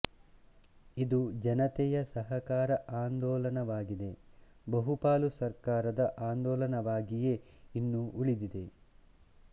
ಇದು ಜನತೆಯ ಸಹಕಾರ ಆಂದೋಲನವಾಗದೆ ಬಹುಪಾಲು ಸರ್ಕಾರದ ಆಂದೋಲನವಾಗಿಯೇ ಇನ್ನೂ ಉಳಿದಿದೆ